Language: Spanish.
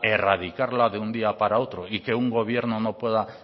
erradicarla de un día para otro y que un gobierno no pueda